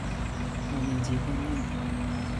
Momichi konyon